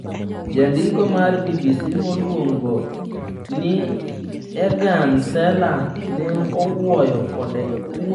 Jandiko mar BBC miluongo ni Eagan Salla ne owuoyo kode.